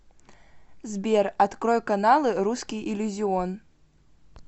сбер открой каналы русский иллюзион